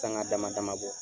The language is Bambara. Sanka dama dama dɔ